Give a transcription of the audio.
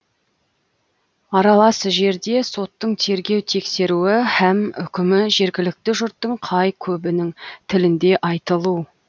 аралас жерде соттың тергеу тексеруі һәм үкімі жергілікті жұрттың қай көбінің тілінде айтылу